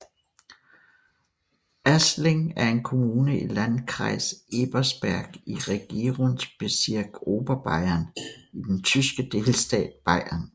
Aßling er en kommune i Landkreis Ebersberg i Regierungsbezirk Oberbayern i den tyske delstat Bayern